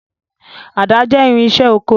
Àdá jẹ́ irinṣẹ́ oko.